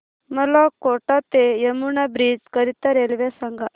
मला कोटा ते यमुना ब्रिज करीता रेल्वे सांगा